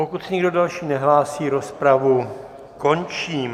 Pokud se nikdo další nehlásí, rozpravu končím.